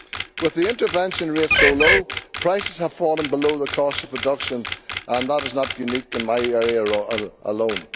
With the intervention rate so low, prices have fallen below the cost of production, and that is not unique to my area alone.